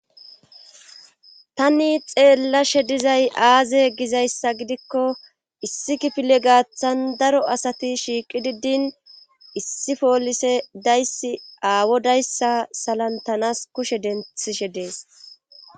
tani xeellashe dizay aaze gizayssa gidiko issi kifile gaathan daro asati shiiqidi din issi poolise dizayssi aawodayssa salanttanas kushe denththishe de7es.